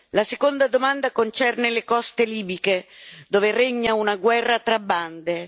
La seconda domanda concerne le coste libiche, dove regna una guerra tra bande.